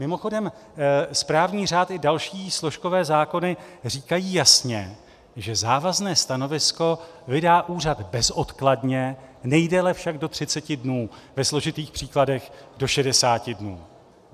Mimochodem správní řád i další složkové zákony říkají jasně, že závazné stanovisko vydá úřad bezodkladně, nejdéle však do 30 dnů, ve složitých případech do 60 dnů.